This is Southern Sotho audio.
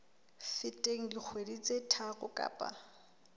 feteng dikgwedi tse tharo kapa